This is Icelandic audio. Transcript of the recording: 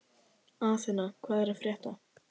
Athena, hvað er að frétta?